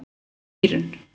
Dýrunn